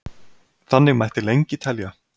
Þannig mætti lengi telja.